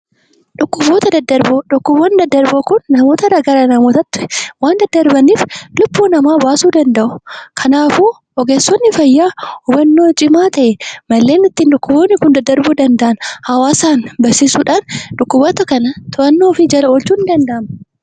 Dhukkuboota daddarboo: Dhukkuboonni daddarboon kun namoota irraa gara namootaatti waan daddarbaniif lubbuu namaa baasuu danda'u. Kanaafuu ogeessonni fayyaa wanta to'annoo cimaa ta'e malee dhukkuboonni kun daddarbuu danda'an hawaasaan barsiisuudhaan dhukkuboota kana to'annoo ofii jala oolchuun ni danda'ama.